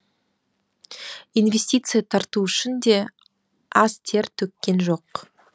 инвестиция тарту үшін де аз тер төккен жоқ